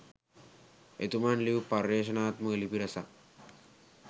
එතුමන් ලියූ පර්යේෂණාත්මක ලිපි රැසක්